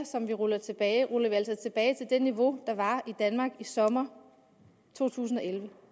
som vi ruller tilbage ruller vi altså tilbage til det niveau der var i danmark i sommeren to tusind og elleve